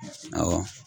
Awɔ